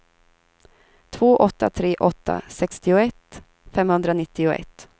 två åtta tre åtta sextioett femhundranittioett